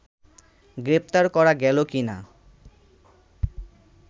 গ্রেপ্তার করা গেল কি না